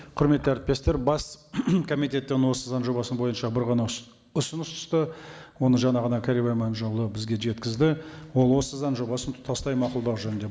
құрметті әріптестер бас комитеттен осы заң жобасы бойынша бір ғана ұсыныс түсті оны жаңа ғана кәрібай аманжанұлы бізге жеткізді ол осы заң жобасын тұтастай мақұлдау жөнінде